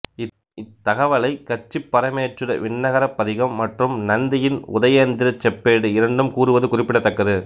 இத்தகவலை கச்சிப்பரமேச்சுர விண்ணகரப் பதிகம் மற்றும் நந்தியின் உதயேந்திரச் செப்பேடு இரண்டும் கூறுவது குறிப்பிடத்தக்கது